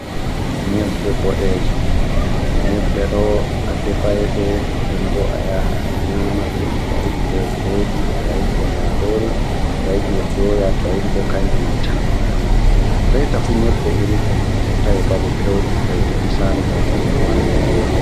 Nyebbe Boɗeje: Nyebbe ɗo adefai ɗe nden bo ayaha a nyamaɗe toayiɗi be biredi, toayiɗi be marori, toayiɗi doya, toayiɗi bo kanje mai tan a nyamaɗe. Reta fu nyebbe irin ɗe ɗe ɗon tawe babe peuɗe-peuɗe misalu ba gembu ha Nigeria.